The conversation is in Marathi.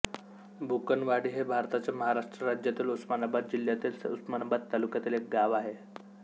बुकनवाडी हे भारताच्या महाराष्ट्र राज्यातील उस्मानाबाद जिल्ह्यातील उस्मानाबाद तालुक्यातील एक गाव आहे